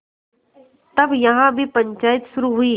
तब यहाँ भी पंचायत शुरू हुई